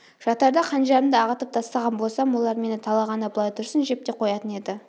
жатарда қанжарымды ағытып тастаған болсам олар мені талағаны былай тұрсын жеп те қоятын еді